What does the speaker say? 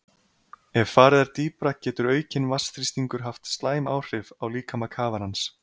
Ef farið er dýpra getur aukinn vatnsþrýstingur haft slæm áhrif á líkama kafarans.